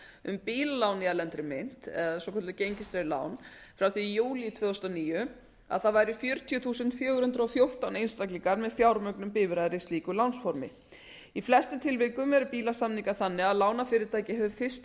um bílalán í erlendri mynt eða svokölluð gengistryggð lán frá því í júlí tvö þúsund og níu að það væri fjörutíu þúsund fjögur hundruð og fjórtán einstaklingar með fjármögnun bifreiðar í slíku lánsformi í flestum samningum eru bílasamningar þannig að lánafyrirtæki hefur fyrsta